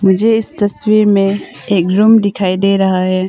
मुझे इस तस्वीर में एक रूम दिखाई दे रहा है।